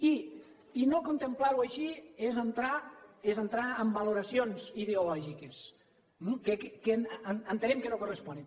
i no contemplar ho així és entrar en valoracions ideològiques eh que entenem que no corresponen